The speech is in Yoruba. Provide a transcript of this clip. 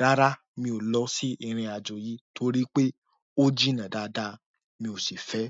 rárá mi ò lọ sí ìrìn-àjò yìí torí pé ó jìnà dáadáa. Mi ò sì fẹ́.